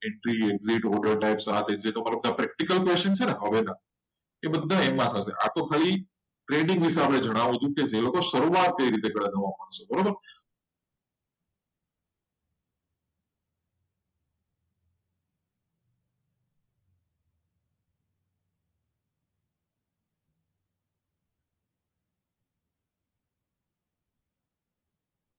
જે practical trading હશે. એ તેમાં શીખવા મળશે. આ બધું ખાલી trading કેવી રીતે start કરવાનું એ માટે વિડીયો હતો.